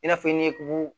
I n'a fɔ i ni kulu